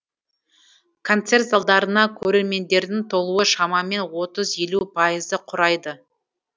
концерт залдарына көрермендердің толуы шамамен отыз елу пайызды құрайды